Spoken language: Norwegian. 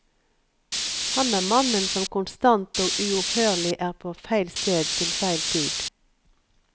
Han er mannen som konstant og uopphørlig er på feil sted til feil tid.